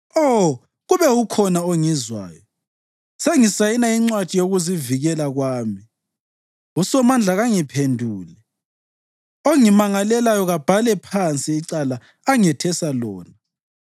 (Oh, kube ukhona ongizwayo! Sengisayina incwadi yokuzivikela kwami, uSomandla kangiphendule; ongimangalelayo kabhale phansi icala angethesa lona.